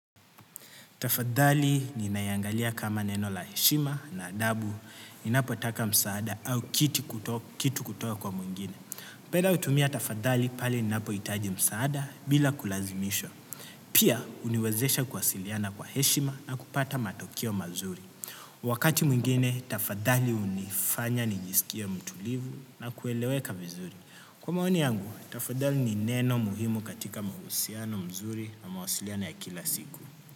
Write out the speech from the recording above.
Tafadhali ninaiangalia kama neno la heshima na adabu, napotaka msaada au kitu kutoka kwa mwingine. Napenda kutumia tafadhali pale ninapo itaji msaada bila kulazimisha. Pia, uniwezesha kuwasiliana kwa heshima na kupata matokeo mazuri. Wakati mwingine, tafadhali unifanya nijisikie mtulivu na kueleweka vizuri. Kwa maoni yangu, tafadhali ni neno muhimu katika mahusiano mzuri na mawasiliano ya kila siku.